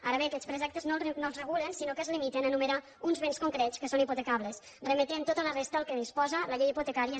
ara bé aquests preceptes no es regulen sinó que es limiten a enumerar uns béns concrets que són hipotecables i es remet tota la resta al que disposa la llei hipotecària